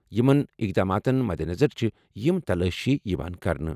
یِمَن اقداماتَن مدنظر چھِ یِم تلٲشی یِوان کرنہٕ۔